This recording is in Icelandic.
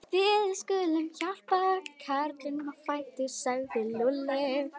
Við skulum hjálpa karlinum á fætur sagði Lúlli.